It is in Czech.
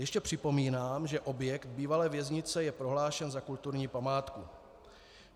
Ještě připomínám, že objekt bývalé věznice je prohlášen za kulturní památku.